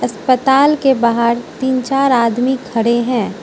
अस्पताल के बाहर तीन चार आदमी खड़े हैं।